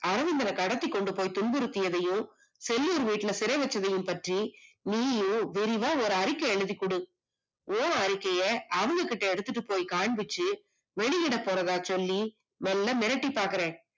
ஆளுங்கள கடத்தி கொண்டுபோய் துன்புருதியதையும், செல்லூர் வீட்டுல சிறை வைச்சதையும் பற்றி நீயும் விரிவா ஒரு அறிக்கை எழுதி குடு, உன் அறிக்கைய அவங்ககிட்ட எடுத்திட்டு போய் காமிச்சு வெளியிட போறதா சொல்லி நல்லா மிரட்டிப்பாக்குறேன்